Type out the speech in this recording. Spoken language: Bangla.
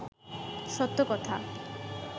সত্য কথা